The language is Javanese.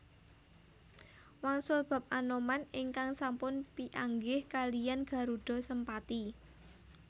Wangsul bab Anoman ingkang sampun pianggih kaliyan Garudha Sempati